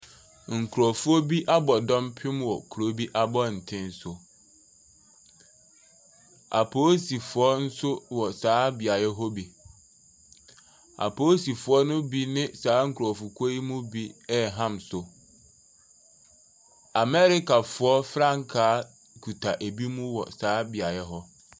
Nkurɔfoɔ bi abɔ dɔmpem wɔ kuro bi abɔnten so, apolisifoɔ nso wɔ saa beaeɛ hɔ bi. Apolisifoɔ ne bi ne saa nkurɔfokuo ne bi ɛreham so. Americafoɔ frankaa kita binom wɔ saa beaeɛ hɔ.